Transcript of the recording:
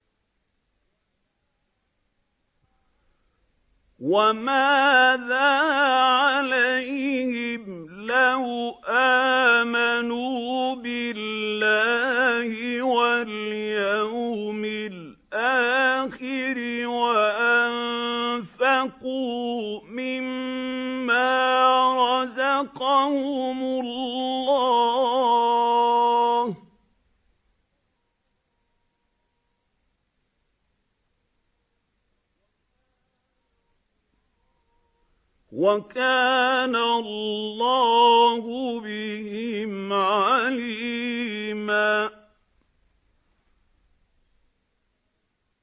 وَمَاذَا عَلَيْهِمْ لَوْ آمَنُوا بِاللَّهِ وَالْيَوْمِ الْآخِرِ وَأَنفَقُوا مِمَّا رَزَقَهُمُ اللَّهُ ۚ وَكَانَ اللَّهُ بِهِمْ عَلِيمًا